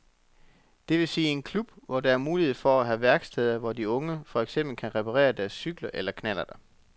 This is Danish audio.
Det vil sige en klub, hvor der er mulighed for at have værksteder, hvor de unge for eksempel kan reparere deres cykler eller knallerter.